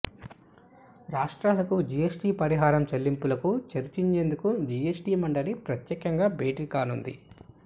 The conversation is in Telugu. రాష్ట్రాలకు జీఎస్టీ పరిహారం చెల్లింపులకు చర్చించేందుకు జీఎస్టీ మండలి ప్రత్యేకంగా భేటీకానుంది